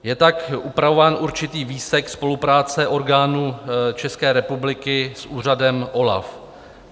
Je tak upravován určitý výsek spolupráce orgánů České republiky s úřadem OLAF.